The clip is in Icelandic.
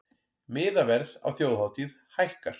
Miðaverð á þjóðhátíð hækkar